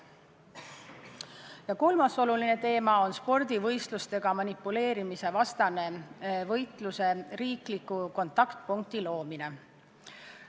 Ja kolmas oluline teema on spordivõistlustega manipuleerimise vastase võitluse riikliku kontaktpunkti loomine.